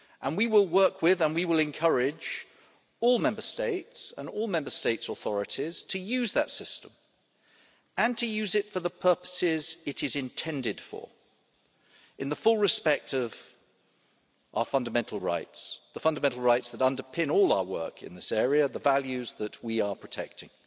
We will work with all Member States and all Member States' authorities and encourage them to use that system and to use it for the purposes it is intended for, in the full respect of our fundamental rights, the fundamental rights that underpin all our work in this area, the values that we are protecting.